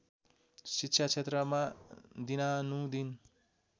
शिक्षा क्षेत्रमा दिनानुदिन